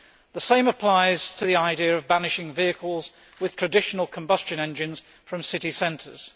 The same applies to the idea of banishing vehicles with traditional combustion engines from city centres.